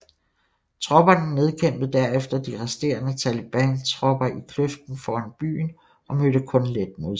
Tropperne nedkæmpede derefter de resterende talibantropper i kløften foran byen og mødte kun let modstand